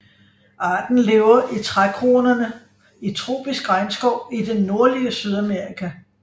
Arten lever i trækronerne i tropisk regnskov i det nordlige Sydamerika